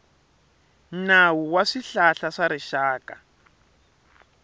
nawu wa swihlahla swa rixaka